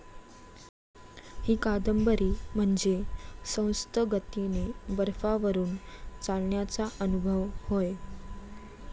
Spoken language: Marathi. ही कादंबरी म्हणजे संथगतीने बर्फावरून चालण्याचा अनुभव होय.